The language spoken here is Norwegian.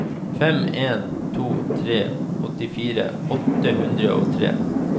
fem en to tre åttifire åtte hundre og tre